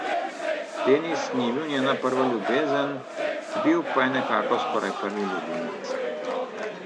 Denis ni bil njena prva ljubezen, bil pa je nekako skoraj prvi ljubimec.